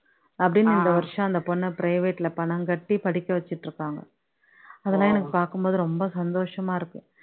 அப்படின்னு இந்த வருஷம் அந்த பொண்ண private ல பணம் கட்டி படிக்க வச்சுட்டு இருக்காங்க அதெல்லாம் நான் பாக்கும் போது ரொம்ப சந்தோஷமா இருக்கு